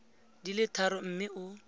di le tharo mme o